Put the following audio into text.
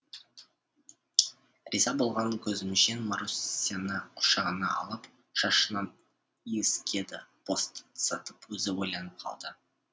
риза болған көзімжан марусяны құшағына алып шашынан иіскеді босатып өзі ойланып қалды